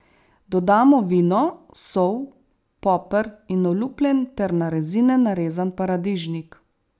Dodamo vino, sol, poper in olupljen ter na rezine narezan paradižnik.